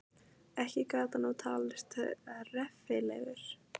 Ekki gat hann nú talist reffilegur.